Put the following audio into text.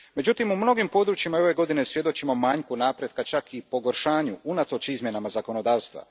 Međutim, u mnogim područjima i ove godine svjedočimo manjku napretka, čak i pogoršanju, unatoč izmjenama zakonodavstva.